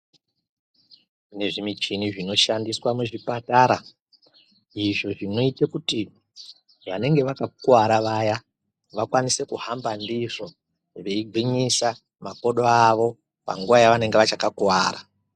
Kune zvimichini zvinoshandiswa muzvipatara izvo zvinoite kuti vanenge vakakuwara vaya vakwanise kuhamba ndizvo veigwinyisa makodo avo panguva yavanenge vachakakuwara.